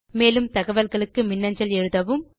மேலும் தகவல்களுக்கு மின்னஞ்சல் எழுதவும்